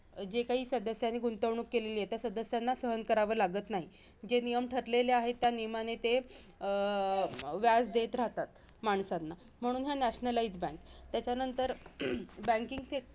जी काही सदस्यांनी गुंतवणूक केलेली आहे, त्या सदस्यांना सहन कराव लागत नाही. जे नियम ठरलेले आहेत, त्या नियमाने ते अं व्याज देत राहतात, माणसांना. म्हणून हे nationalize bank त्याच्यानंतर